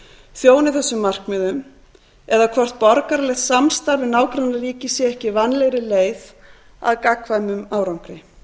þjóni þessu markmiðum eða hvort borgaralegt samstarf við nágrannaríki sé ekki vænlegri leið að gagnkvæmum árangri